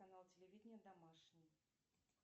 канал телевидения домашний